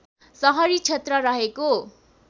सहरी क्षेत्र रहेको